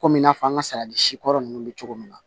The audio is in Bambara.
Komi i n'a fɔ an ka sari si kɔrɔ nunnu be cogo min na